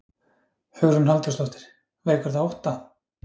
Hugrún Halldórsdóttir: Vekur það ótta?